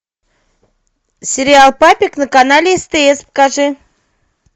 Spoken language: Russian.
сериал папик на канале стс покажи